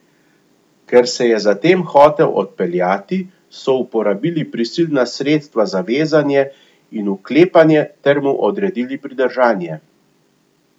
Ker se je zatem hotel odpeljati, so uporabili prisilna sredstva za vezanje in vklepanje ter mu odredili pridržanje.